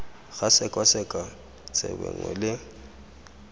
ga sekwasekwa tsebe nngwe le